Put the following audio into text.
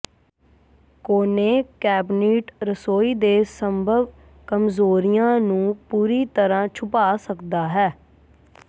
ਕੋਨੇ ਕੈਬਨਿਟ ਰਸੋਈ ਦੇ ਸੰਭਵ ਕਮਜ਼ੋਰੀਆਂ ਨੂੰ ਪੂਰੀ ਤਰ੍ਹਾਂ ਛੁਪਾ ਸਕਦਾ ਹੈ